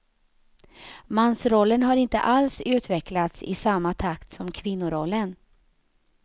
Mansrollen har inte alls utvecklats i samma takt som kvinnorollen.